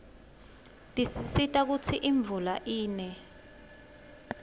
tisisita kutsi imvula ine